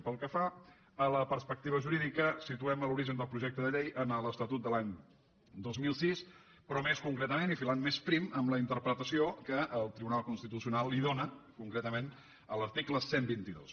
pel que fa a la perspectiva jurídica situem l’origen del projecte de llei en l’estatut de l’any dos mil sis però més concretament i filant més prim en la interpretació que el tribunal constitucional li dóna concretament a l’article cent i vint dos